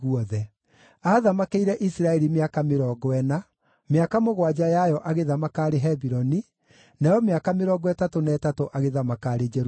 Aathamakĩire Isiraeli mĩaka mĩrongo ĩna, mĩaka mũgwanja yayo agĩthamaka arĩ Hebironi, nayo mĩaka mĩrongo ĩtatũ na ĩtatũ agĩthamaka arĩ Jerusalemu.